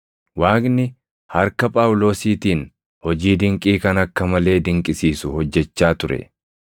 Waaqni harka Phaawulosiitiin hojii dinqii kan akka malee dinqisiisu hojjechaa ture.